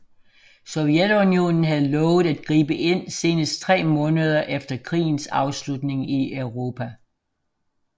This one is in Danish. Sovjetunionen havde lovet at gribe ind senest tre måneder efter krigens afslutning i Europa